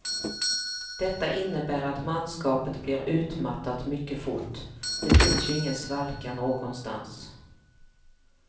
Detta innebär att manskapet blir utmattat mycket fort, det finns ju ingen svalka någonstans.